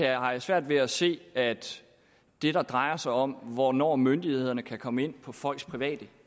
jeg har svært ved at se at det der drejer sig om hvornår myndighederne kan komme ind på folks private